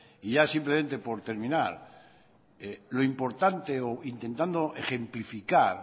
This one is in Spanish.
ya simplemente por terminar lo importante o intentando ejemplificar